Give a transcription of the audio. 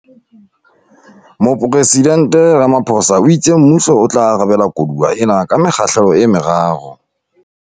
Mopresidnte Ramaphosa o itse mmuso o tla arabela koduwa ena ka mekgahlelo e meraro.